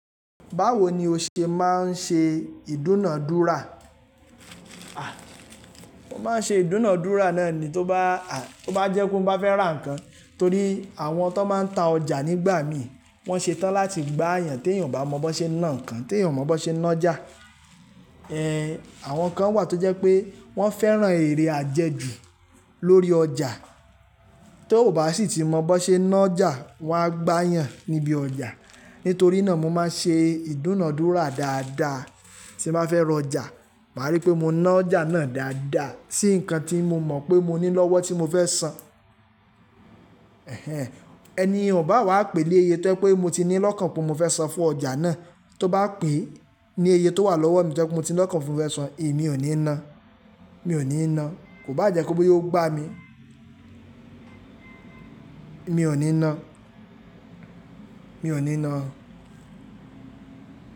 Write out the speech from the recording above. Báwo ni o ṣe máa ń ṣe ìdúnàádúrà? A! Mo máa ń ṣe ìdúnàádúrà náà ni tó bá, tó bá jẹ́ kó mo bá fẹ́ rà nǹkan torí àwọn tó máa ń ta ọjà nígbà mi wọ́n ṣetán láti gbá yàn tí èèyàn ò bá mọ bó ṣe ná nǹkan, tí èèyàn ò mọ bó ṣe ná ọjà. Àwon kan wà to jé pe wón féràn eré àjèjù lórí òjà tó bá se ti mo bó se nájà wa gbà yàn níbi ojà. Nítorí náà mo máa ń ṣe ìdúnàádúrà dáadáa tí bá fẹ́ rọjà. Màá rí pé mo ná ọjà náà dáadáa tí nǹkan tí mo mọ̀ pé mo ní lọ́wọ́ tí mo fẹ́ san. Ẹni ò bá wá pè lé iye tó jẹ́ pé mo ti ní lọ́kàn pé mo fẹ́ san fún ọjà náà, tó bá pè ní iye tó wà lọ́wọ́ mi tí mo ti ní lọ́kàn pé mo fẹ́ san, èmi ò ní ná. Mi ò ní ná. Kò bá jé pé o gba mi Mi ò ní ná. Mi ò ní ná.